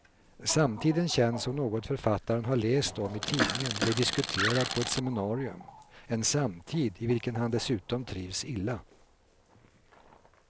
Samtiden känns som något författaren har läst om i tidningen eller diskuterat på ett seminarium, en samtid i vilken han dessutom trivs illa.